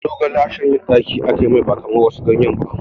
Zogale shanyan ɗaki ake mai ba kamar wasu ganyaye ba